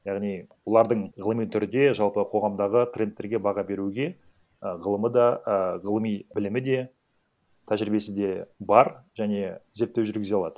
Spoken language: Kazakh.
яғни бұлардың ғылыми түрде жалпы қоғамдағы трендтерге баға беруге і ғылымы да а ғылыми білімі де тәжірибесі де бар және зерттеу жүгізе алады